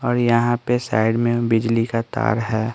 और यहां पे साइड में बिजली का तार है।